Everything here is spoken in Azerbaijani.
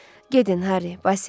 Gedin, Harry, Basil.